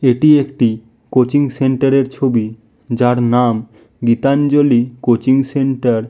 এটি একটি কোচিন সেন্টার -এর ছবি যার নাম গীতাঞ্জলি কোচিন সেন্টার ।